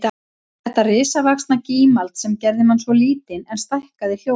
Þetta risavaxna gímald sem gerði mann svo lítinn en stækkaði hljóðin